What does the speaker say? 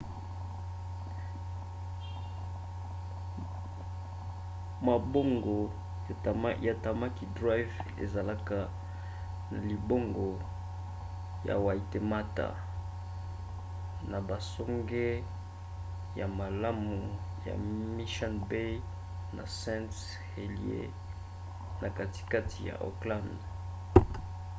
mabongo ya tamaki drive ezalaka na libongo ya waitemata na basonge ya malamu ya mission bay na st heliers na katikati ya auckland